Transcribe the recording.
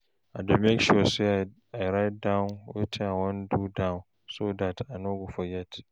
I dey make sure say I write wetin I wan do down so dat I no go forget